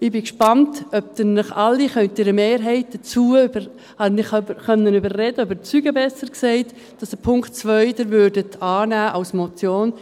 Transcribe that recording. Ich bin gespannt, ob ich Sie alle oder eine Mehrheit überzeugen konnte, dass Sie den Punkt 2 als Motion annehmen können.